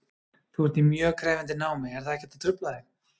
Þú ert í mjög krefjandi námi, er það ekkert að trufla þig?